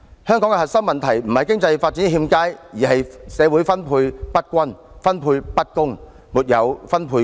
香港的核心問題不是經濟發展欠佳，而是社會分配不均及分配不公。